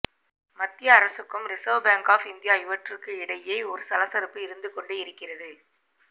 மத்திய அரசுக்கும் reserve bank of India இவற்றுக்கு இடையே ஒரு சலசலப்பு இருந்து கொண்டே இருக்கிறது